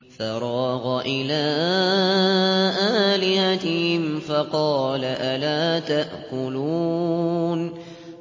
فَرَاغَ إِلَىٰ آلِهَتِهِمْ فَقَالَ أَلَا تَأْكُلُونَ